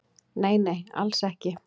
Nei nei, alls ekki